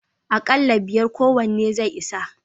Akalla biyar kowanne zai isa.